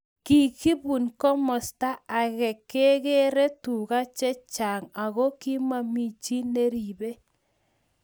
Kikubun komasata ake keree tuka che chang aki momi chi neripei